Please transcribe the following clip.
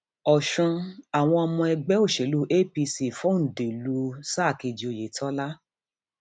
ọsùn àwọn ọmọ ẹgbẹ òṣèlú apc fòǹdè lù sáà kejì oyetola